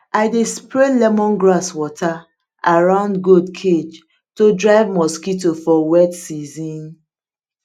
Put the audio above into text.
i dey spray lemongrass water around goat cage to drive mosquito for wet season